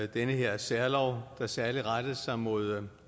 den her særlov der særlig rettede sig mod